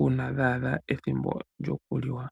uuna dha adha ethimbo lyokuliwa.